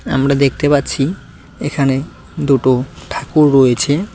আমরা দেখতে পাচ্ছি এখানে দুটো ঠাকুর রয়েছে।